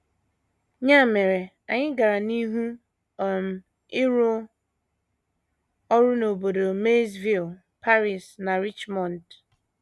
Ya mere, anyị gara n’ihu um ịrụ ọrụ n’obodo Maysville, Paris, na Richmond.